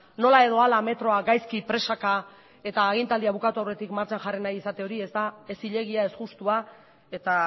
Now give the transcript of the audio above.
nola edo hala metroa gaizki presaka eta agintaldia bukatu aurretik martxan jarri nahi izate hori ez da ez zilegia ez justua eta